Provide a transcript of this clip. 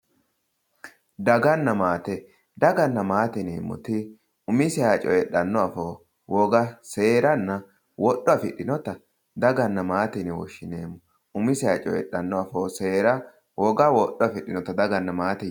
Daganna maate daganna maate yineemmoti umiseha coyidhano afoo woga seeranna woga afidhinotta daganna maate yine woshshineemmo , umiseha coyidhano afoo seera woga wodho afidhinotta daganna maate yinanni.